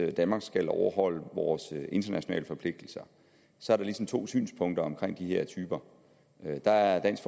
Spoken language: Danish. at danmark skal overholde vores internationale forpligtelser så er der ligesom to synspunkter omkring de her typer der er dansk